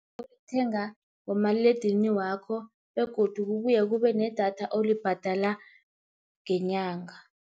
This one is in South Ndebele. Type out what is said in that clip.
Olithenga ngomaliledinini wakho begodu kubuye kube nedatha olibhadala ngenyanga.